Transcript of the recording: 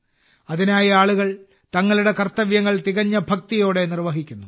അതിനായി ആളുകൾ തങ്ങളുടെ കർത്തവ്യങ്ങൾ തികഞ്ഞ ഭക്തിയോടെ നിർവഹിക്കുന്നു